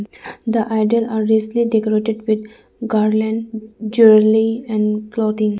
the idol are richly decorated with garland jwerlely and clothing.